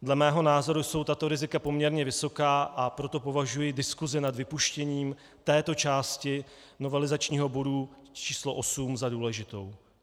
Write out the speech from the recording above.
Dle mého názoru jsou tato rizika poměrně vysoká, a proto považuji diskusi nad vypuštěním této části novelizačního bodu č. 8 za důležitou.